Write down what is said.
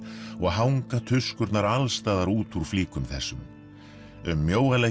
og hanga tuskurnar alls staðar út úr flíkum þessum um